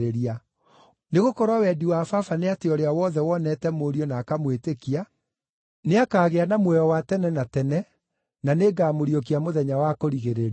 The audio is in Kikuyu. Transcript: Nĩgũkorwo wendi wa Baba nĩ atĩ ũrĩa wothe wonete Mũriũ na akamwĩtĩkia nĩakagĩa na muoyo wa tene na tene, na nĩngamũriũkia mũthenya wa kũrigĩrĩria.”